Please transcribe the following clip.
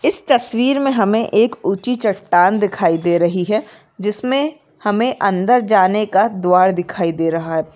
इस तस्वीर मे एक उची चट्टान दिखाई दे रही है जिसमे हमे अंदर जाने का द्वार दिखाई दे रहा है।